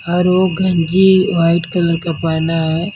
और गंजी white colour का पहना है।